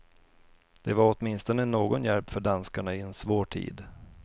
Det var åtminstone någon hjälp för danskarna i en svår tid.